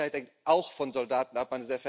Doch, Sicherheit hängt auch von Soldaten ab.